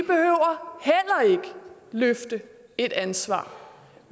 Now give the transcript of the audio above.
løfte et ansvar